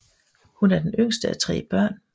Hun er den yngste af tre børn